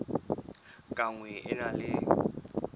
ka nngwe e na le